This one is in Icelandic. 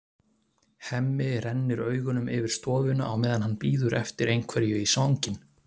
Hemmi rennir augunum yfir stofuna á meðan hann bíður eftir einhverju í svanginn.